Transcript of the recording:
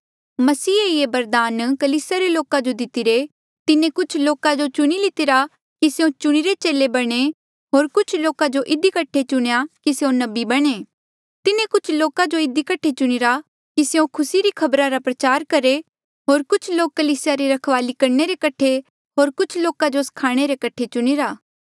मसीहे ही ये बरदान कलीसिया रे लोका जो दितिरे तिन्हें कुछ लोका जो चुणी लितिरा कि स्यों चुणिरे चेले बणे होर कुछ लोका जो इधी कठे कि स्यों नबी बणे तिन्हें कुछ लोका जो इधी कठे चुणीरा कि स्यों खुसी री खबरा रा प्रचार करहे होर कुछ लोक कलीसिया री रखवाली करणे रे कठे होर कुछ लोका जो स्खाणे रे कठे चुणीरा